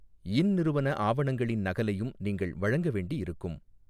யின் நிறுவன ஆவணங்களின் நகலையும் நீங்கள் வழங்க வேண்டி இருக்கும்.